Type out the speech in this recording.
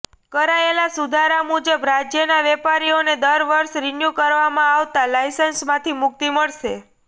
કરાયેલા સુધારા મુજબ રાજ્યના વેપારીઓને દર વર્ષે રીન્યું કરવામાં આવતા લાયસન્સમાંથી મુક્તિ મળશે